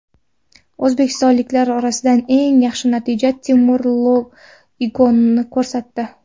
O‘zbekistonliklar orasidan eng yaxshi natijani Temur Igonin ko‘rsatdi.